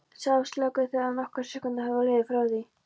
sagði Áslákur þegar nokkrar sekúndur höfðu liðið frá því